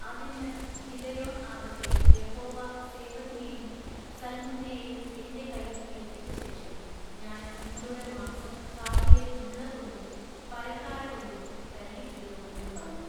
അതിന്നു Gideon ആകട്ടെ Jehovah സേബഹിനെയും സൽമുന്നയെയും എന്റെ കയ്യിൽ ഏല്പിച്ചശേഷം ഞാൻ നിങ്ങളുടെ മാംസം കാട്ടിലെ മുള്ളകൊണ്ടും പരക്കാരകൊണ്ടും തല്ലിക്കീറും എന്നു പറഞ്ഞു.